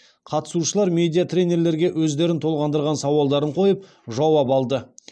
қатысушылар медиа тренерлерге өздерін толғандырған сауалдарын қойып жауап алды